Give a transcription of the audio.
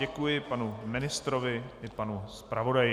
Děkuji panu ministrovi i panu zpravodaji.